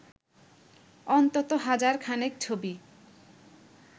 অন্তত হাজার খানেক ছবি